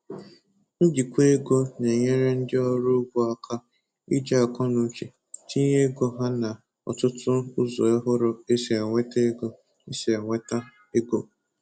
Njikwa ego na-enyere ndi ọrụ ugbo aka iji akọnuche tinye ego ha na ọtụtụ ụzọ ohụrụ esi enweta ego esi enweta ego